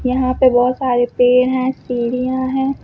यहां पे बहुत सारे पेड़ हैं सीढ़ियां हैं।